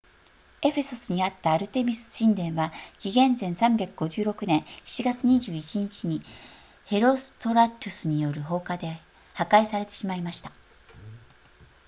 エフェソスにあったアルテミス神殿は紀元前356年7月21日にヘロストラトゥスによる放火で破壊されてしまいました